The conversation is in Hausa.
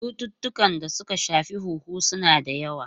Cututtukan da suka shafi huhu suna da yawa.